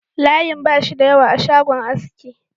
Layin ba shi da yawa a shagon aski